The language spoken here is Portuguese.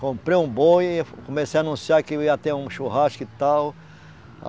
Comprei um boi, comecei a anunciar que ia ter um churrasco e tal.